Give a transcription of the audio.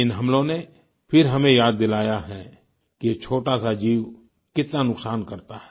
इन हमलों ने फिर हमें याद दिलाया है कि ये छोटा सा जीव कितना नुकसान करता है